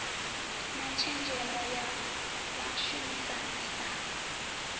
na tshenzhemo ya vhashumisani sa